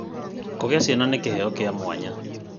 Kũgĩa ciana nĩ kĩheo kĩa mwanya.